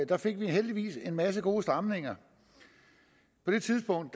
der fik vi heldigvis en masse gode stramninger på det tidspunkt